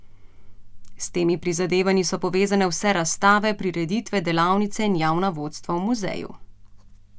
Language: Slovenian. S temi prizadevanji so povezane vse razstave, prireditve, delavnice in javna vodstva v muzeju.